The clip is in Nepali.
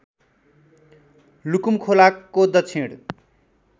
लुकुम खोलाको दक्षिण